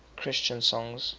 christian songs